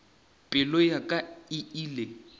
pelo ya ka e ile